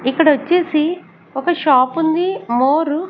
ఇక్కడ వచ్చేసి ఒక షాప్ ఉంది మోర్ .